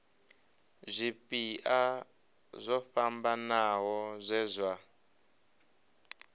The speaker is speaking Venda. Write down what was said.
zwipia zwo fhambanaho zwe zwa